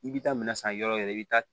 I bi taa minɛn san yɔrɔ wɛrɛ i bi taa